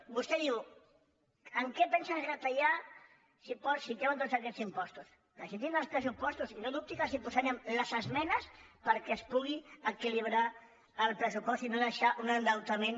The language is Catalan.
vostè diu en què pensen retallar si treuen tots aquests impostos presentin els pressupostos i no dubti que els posa·rem les esmenes perquè es pugui equilibrar el pres·supost i no deixar un endeutament